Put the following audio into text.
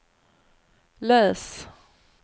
läs